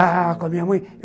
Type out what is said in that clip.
Ah, com a minha mãe.